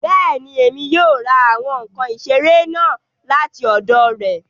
Bẹ́ẹ̀ni, Emi yóò ra awọn nkan isere naa lati ọdọ rẹ